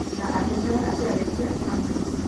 Na akĩmwĩra atĩ arĩkia amwĩte.